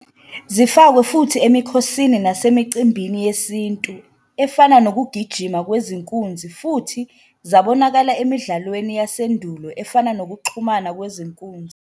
Zifakwe futhi emikhosini nasemicimbini yesintu efana nokugijima kwezinkunzi futhi zabonakala emidlalweni yasendulo efana nokuxhuma kwezinkunzi.